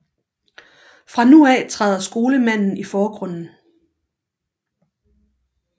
Fra nu af træder skolemanden i forgrunden